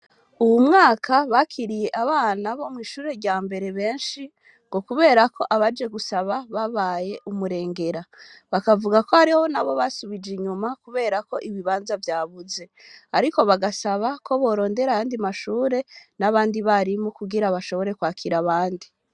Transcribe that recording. Uwu mwaka, bakiriye abana, bo mw'ishure rya mbere benshi, ngo kubera ko, abaje gusaba, babaye umurengera; bakavuga ko, hariho n'abo basubije inyuma, kubera ko, ibibanza vyabuze; ariko bagasaba ko, borondera ayandi mashure, n'abandi barimu, kugira bashobore, kwakira abandi.